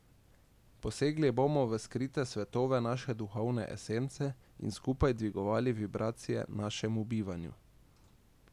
Posegli bomo v skrite svetove naše duhovne esence in skupaj dvigovali vibracije našemu bivanju.